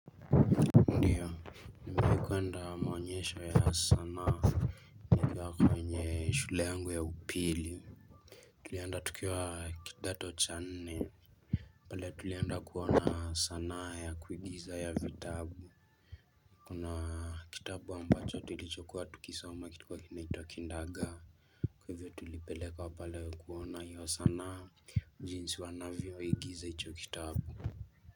Ndio, nimewai kwenda maonyesho ya sanaa. Nikiwa kwenye shule yangu ya upili. Tulienda tukiwa kidato cha nne. Pale tulienda kuona sanaa ya kuigiza ya vitabu. Kuna kitabu ambacho tulichokuwa tukisoma kilikuwa kinaitwa kindagaa. Kwa hivyo tulipelekwa pale kuona hiyo sanaa jinsi wanavyoigiza icho kitabu.